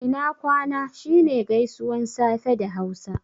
Ina kwana' shi ne gaisuwan safe da hausa